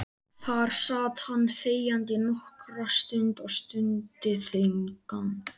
Þar sat hann þegjandi nokkra stund og stundi þungan.